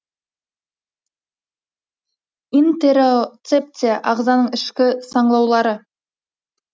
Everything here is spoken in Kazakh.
интероцепция ағзаның ішкі саңылаулары